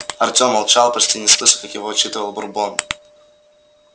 артём молчал почти не слыша как его отчитывал бурбон